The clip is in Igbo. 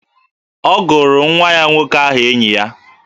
Ọ gụrụ nwa ya nwoke aha enyi ya